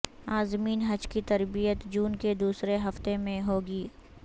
عازمین حج کی تربیت جون کے دوسرے ہفتہ میں ہو گی